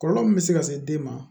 Kɔlɔlɔ min bɛ se ka se den ma